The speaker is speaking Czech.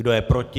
Kdo je proti?